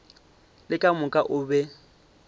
le ka moka o be